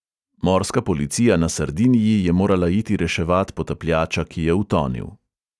Morska policija na sardiniji je morala iti reševat potapljača, ki je utonil.